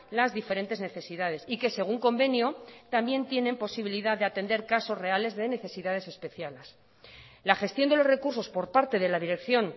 las diferentes necesidades y que según convenio también tienen posibilidad de atender casos reales de necesidades especiales la gestión de los recursos por parte de la dirección